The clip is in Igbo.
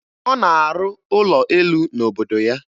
Ọ na-arụ ụlọ elu n'obodo ya.